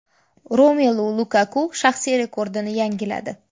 Romelu Lukaku shaxsiy rekordini yangiladi !